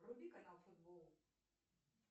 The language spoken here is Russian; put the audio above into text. вруби канал футбол